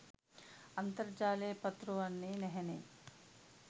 අන්තර්ජාලයේ පතුරවන්නේ නැහැනේ.